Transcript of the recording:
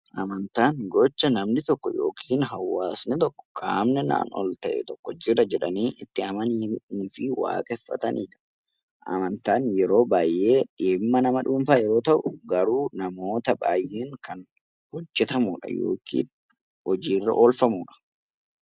Amantaan gocha namni tokko yookiin hawaasni tokko "qaamni naan ol ta'e tokko jira" jedhanii itti amananii fi waaqeffatanii dha. Amantaan yeroo baay'ee dhimma nama dhuunfaa yeroo ta'u, garuu namoota baay'een kan hojjetamuu dha. Yookiin hojiirra oolfamuu dha.